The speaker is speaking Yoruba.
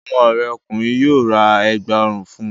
Ọmọ rẹ ọkùnrin yóò ra Ẹ̀gbá ọrùn fun